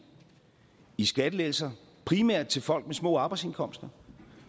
i skattelettelser primært til folk med små arbejdsindkomster